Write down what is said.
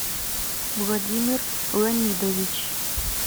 владимир ланидович